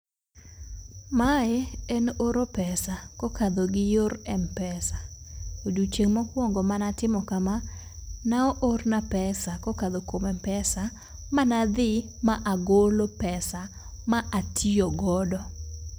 Mae en oro pesa kokalo gi yor mpesa. Odiochieng' mokwongo manatimo kama ne oorna pesa kokadho kuom mpesa mana dhi ma agolo pesa ma atiyo godo.